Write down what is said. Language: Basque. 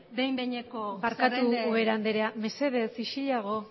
behin behineko zerrenden barkatu ubera andrea mesedez isilago